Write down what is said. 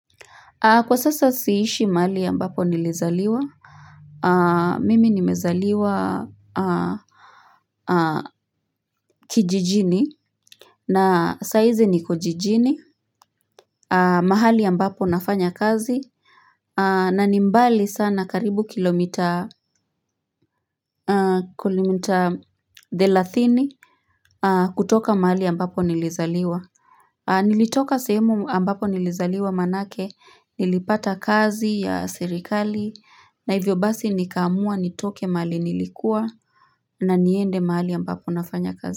Kwa sasa siishi mali ambapo nilizaliwa. Mimi nimezaliwa kijijini. Na saiziniko jijini. Mahali ya mbapo nafanya kazi. Na nimbali sana karibu kilomita thelathini. Kutoka mahali ambapo nilizaliwa. Nilitoka sehemu ambapo nilizaliwa manake. Nilipata kazi ya sirikali. Na hivyo basi nikaamua nitoke mahali nilikuwa na niende mahali ambapo nafanya kazi.